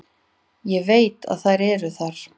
Ég veit að þær eru þar.